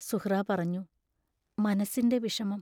സുഹ്റാ പറഞ്ഞു: മനസ്സിന്റെ വിഷമം.